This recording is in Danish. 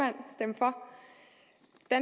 at